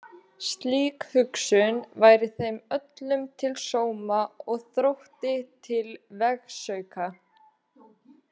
Slík hugsun væri þeim öllum til sóma og Þrótti til vegsauka.